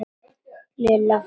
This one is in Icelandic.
Lilla fór út.